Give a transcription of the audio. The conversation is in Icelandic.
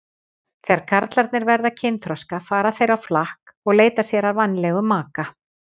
Þegar karlarnir verða kynþroska fara þeir á flakk og leita sér að vænlegum maka.